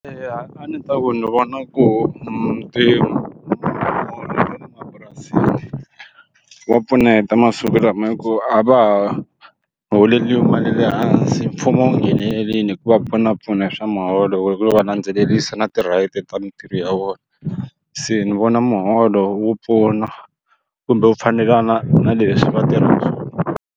Eya a ndzi ta ku ni vona ku or mapurasini wa pfuneta masiku lama hikuva a va ha holeriwi mali leyi hansi mfumo wu nghenelerile ku va pfunapfuna swa muholo hikuva va landzelerisa na ti-right ta mintirho ya vona se ni vona muholo wu pfuna kumbe wu fanelana na leswi va tirhisa swona.